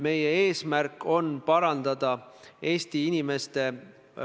Järgmisena küsimus nr 5, mille esitab Jüri Jaanson.